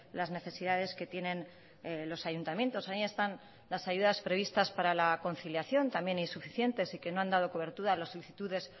las necesidades que tienen los ayuntamientos ahí están las ayudas previstas para la conciliación también insuficientes y que no han dado cobertura a las solicitudes